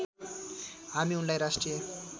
हामी उनलाई राष्ट्रिय